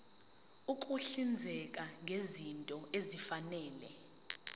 ukuhlinzeka ngezinto ezifanele